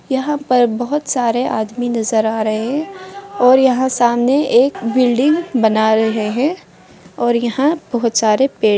यहाँ पर बहुत सारे आदमी नजर आ रहे है और यहाँ सामने एक बिल्डिंग बना रहे है और यहाँ बहुत सारे पेड़ --